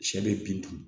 Sɛ bɛ bin dun